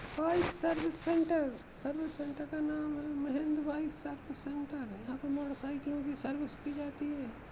Bike service centre service centre का नाम Mahendra bike service centre है। यहाँ पर मोटरसाइकिलों की सर्विस की जाती है।